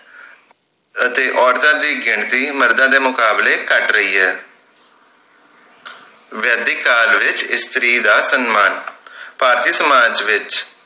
ਅਤੇ ਔਰਤਾਂ ਦੀ ਗਿਣਤੀ ਮਰਦਾਂ ਦੇ ਮੁਕਾਬਲੇ ਘੱਟ ਰਹੀ ਹੈ ਵੈਦਿਕ ਕਾਲ ਵਿਚ ਇਸਤਰੀ ਦਾ ਸੰਮਾਨ ਭਾਰਤੀ ਸਮਾਜ ਵਿਚ